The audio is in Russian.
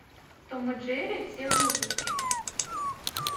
том и джерри все выпуски